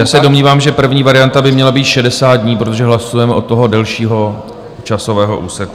Já se domnívám, že první varianta by měla být 60 dní, protože hlasujeme od toho delšího časového úseku.